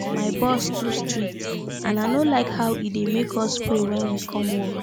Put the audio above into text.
my boss too strict and i no like how he dey make us pray wen we come work